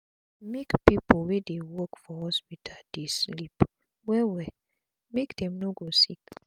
make pipu wey dey work for hospital dey sleep well well make dem no go sick